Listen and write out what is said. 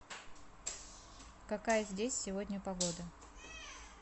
какая здесь сегодня погода